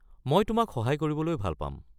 মই তোমাক সহায় কৰিবলৈ ভাল পাম।